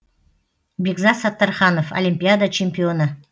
бекзат саттарханов олимпиада чемпионы